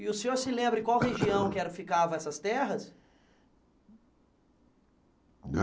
E o senhor se lembra em qual região ficavam essas terras?